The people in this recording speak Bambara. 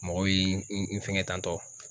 Mɔgɔ bi n fɛŋɛ tantɔ.